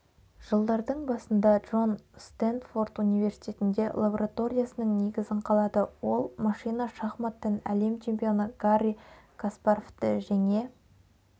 жылдардың басында джон стендфорд университетінде лабораториясының негізін қалады ол машина шахматтан әлем чемпионы гарри каспаровты жеңе